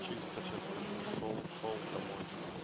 чисто час такой шёл шёл домой